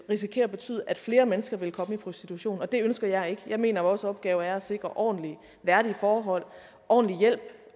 risikere at betyde at flere mennesker vil komme i prostitution og det ønsker jeg ikke jeg mener vores opgave er at sikre ordentlige værdige forhold ordentlig hjælp